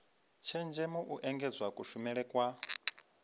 tshenzhemo u engedza kushumele kwa